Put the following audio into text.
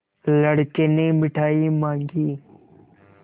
लड़के ने मिठाई मॉँगी